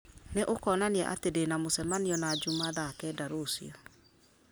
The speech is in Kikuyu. nĩ ũkonania atĩ ndĩna mũcemanio na juma thaa kenda rũciũ